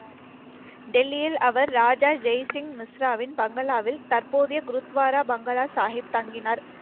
டெல்லியில் அவர், ராஜா ஜெய்சிங் மிஸ்ராவின் பங்களாவில் தற்போதைய குருத்வாரா பங்களா சாகிப் தங்கினார்.